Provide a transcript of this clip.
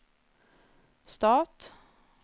stat